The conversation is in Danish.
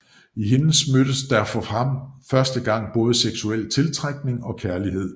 I hende mødtes der for ham for første gang både seksuel tiltrækning og kærlighed